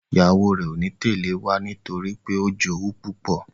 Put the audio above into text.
ìyàwó rẹ o ní Tẹlẹ wá nítorípé o jowú púpọ.